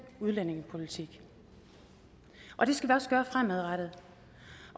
udlændingepolitik og det skal vi også gøre fremadrettet